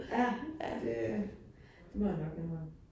Ja, det, det må jeg nok hellere